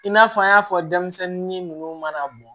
I n'a fɔ an y'a fɔ denmisɛnnin ninnu mana bɔ